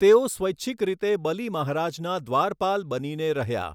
તેઓ સ્વૈછિક રીતે બલી મહારાજના દ્વારપાલ બનીને રહ્યા.